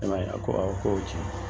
E ma ye wa a ko awo ko ye tiɲɛ ye